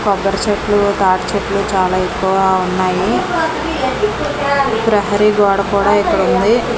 కొబ్బరి చెట్లు తాటి చెట్లు చాలా ఎక్కువగా ఉన్నాయి ప్రహరీ గోడ కూడా ఇక్కడ ఉంది.